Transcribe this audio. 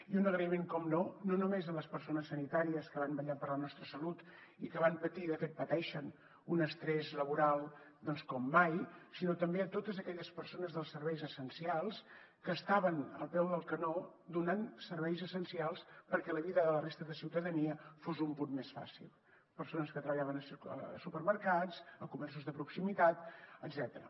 i un agraïment per descomptat no només a les persones sanitàries que van vetllar per la nostra salut i que van patir i de fet pateixen un estrès laboral com mai sinó també a totes aquelles persones dels serveis essencials que estaven al peu del canó donant serveis essencials perquè la vida de la resta de ciutadania fos un punt més fàcil persones que treballaven a supermercats a comerços de proximitat etcètera